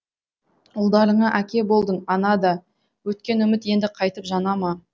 ұлдарыңа әке болдың ана да өткен үміт енді қайтіп жана ма